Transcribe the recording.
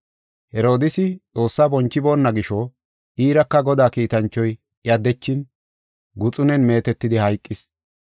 Herodiisi Xoossaa bonchiboona gisho iiraka Godaa kiitanchoy iya dechin guxunen meetetidi hayqis.